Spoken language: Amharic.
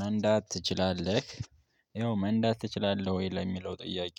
መንዳት ትችላለህ? ይኸው መንዳት ትችላለህ ወይ ለሚለው ጥያቄ